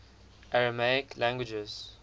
aramaic languages